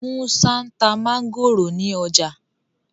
Musa nta Mángòrò ní ọjà